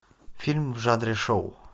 фильм в жанре шоу